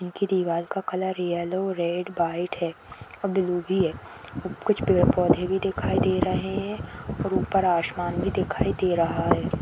इनकी दीवार का कलर येलो रेड व्हाइट है और ब्लू भी है कुछ पेड़ पौधे भी दिखाई दे रहे हैं और ऊपर आशमान भी दिखाई दे रहा है।